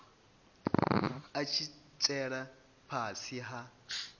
a tshi tsela fhasi ha